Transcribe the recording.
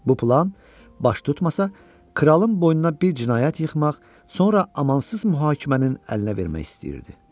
Bu plan baş tutmasa, kralın boynuna bir cinayət yıxmaq, sonra amansız məhkəmənin əlinə vermək istəyirdi.